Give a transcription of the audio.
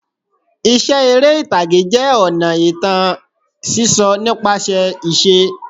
Iṣẹ́ eré ìtàgé jẹ́ ọ̀nà ìtàn sísọ nípasẹ̀ ìṣe.